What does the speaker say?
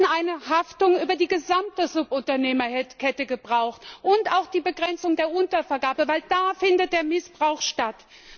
Wir hätten eine Haftung über die gesamte Subunternehmerkette gebraucht und auch die Begrenzung der Untervergabe, denn da findet der Missbrauch statt.